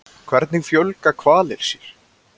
Hvernig fjölga hvalir sér?